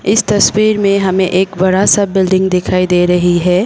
इस तस्वीर में हमें एक बड़ा सा बिल्डिंग दिखाई दे रही है।